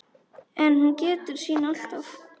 En hún gætir sín alltaf.